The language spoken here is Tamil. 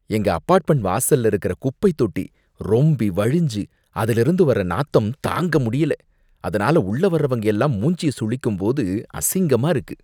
எங்க அப்பார்ட்மெண்ட் வாசல்ல இருக்குற குப்பைத்தொட்டி ரொம்பி வழிஞ்சு அதுலேந்து வர நாத்தம் தாங்கமுடியல! அதுனால உள்ள வரவங்க எல்லாம் மூஞ்சிய சுளிக்கும்போது அசிங்கமா இருக்கு.